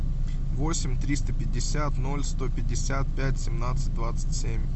восемь триста пятьдесят ноль сто пятьдесят пять семнадцать двадцать семь